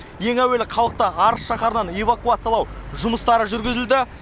ең әуелі халықты арыс шаһарынан эвакуациялау жұмыстары жүргізілді